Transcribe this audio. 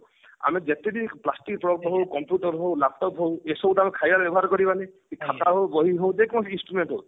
ଆମେ ଯେତିକି plastic product ହଉ computer ହଉ laptop ହଉ ଏସବୁ ତ ଆମେ ଖାଇବାରେ ବ୍ୟବହାର କରିବାନି କି ଯେ କୌଣସି instrument ହଉ